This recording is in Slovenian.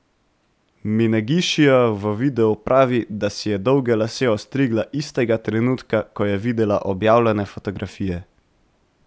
Minegišijeva v videu pravi, da si je dolge lase ostrigla istega trenutka, ko je videla objavljene fotografije.